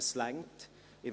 Er reicht aus.